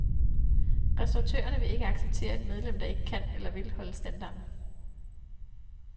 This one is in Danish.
Restauratørerne vil ikke acceptere et medlem, der ikke kan eller vil holde standarden.